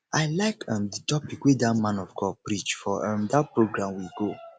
i like um the topic wey dat man of god preach for um dat program we go